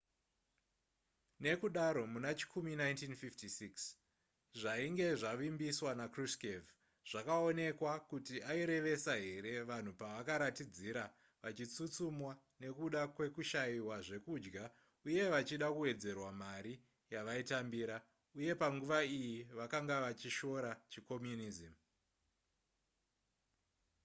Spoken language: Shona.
nekudaro muna chikumi 1956 zvainge zvavimbiswa nakruschev zvakaonekwa kuti airevesa here vanhu pavakaratidzira vachitsutsumwa nekuda kwekushaiwa zvekudya uye vachida kuwedzerwa mari yavaitambira uye panguva iyi vakanga vachishora chicommunism